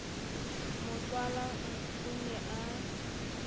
mo tswalang o ne a